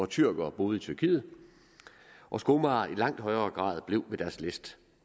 tyrkere boede i tyrkiet og skomagere i langt højere grad blev ved deres læst